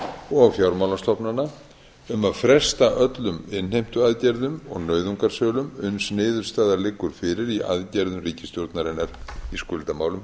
og fjármálastofnana um að fresta öllum innheimtuaðgerðum og nauðungarsölum uns niðurstaða liggur fyrir í aðgerðum ríkisstjórnarinnar í skuldamálum